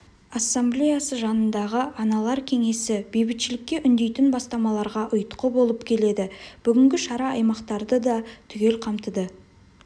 ассамблеясы жанындағы аналар кеңесі бейбітшілікке үндейтін бастамаларға ұйытқы болып келеді бүгінгі шара аймақтарды да түгел қамтыды